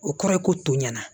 O kɔrɔ ye ko tɔ ɲɛna